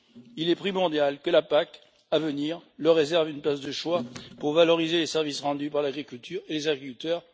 Il est primordial que la PAC à venir leur réserve une place de choix pour valoriser les services rendus par l'agriculture et les agriculteurs.